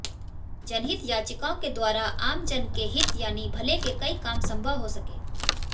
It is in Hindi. जनहित याचिकाओं के द्वारा आमजन के हित यानी भले के कई काम संभव हो सके